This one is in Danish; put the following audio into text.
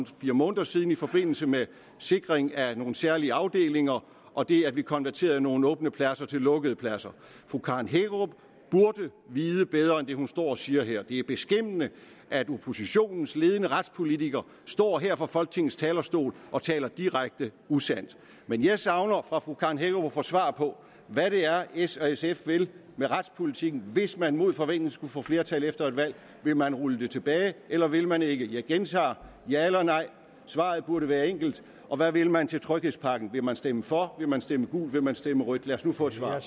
fire måneder siden i forbindelse med sikring af nogle særlige afdelinger og det at vi har konverteret nogle åbne pladser til lukkede pladser fru karen hækkerup burde vide bedre end det hun står og siger her det er beskæmmende at oppositionens ledende retspolitiker står her på folketingets talerstol og taler direkte usandt men jeg savner fra fru karen hækkerup at få svar på hvad det er s og sf vil med retspolitikken hvis man mod forventning skulle få flertal efter et valg vil man rulle det tilbage eller vil man ikke jeg gentager ja eller nej svaret burde være enkelt og hvad vil man til tryghedspakken vil man stemme for vil man stemme gult vil man stemme rødt lad os nu få et svar